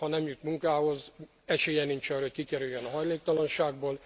Ha nem jut munkához, esélye nincs arra, hogy kikerüljön a hajléktalanságból.